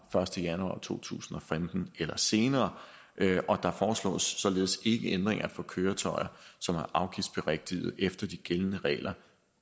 første januar to tusind og femten eller senere og der foreslås således ikke ændringer for køretøjer som er afgiftsberigtigede efter de gældende regler